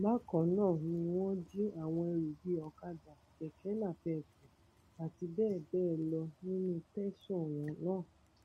bákan náà ni wọn jí àwọn ẹrú bíi ọkadà kẹkẹ napéépù àti bẹẹ bẹẹ lọ kó nínú tẹsán náà